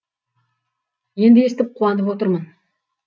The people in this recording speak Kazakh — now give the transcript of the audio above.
енді естіп қуа нып отырмын